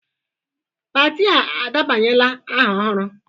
Pati a edebanyela aha ọhụrụ?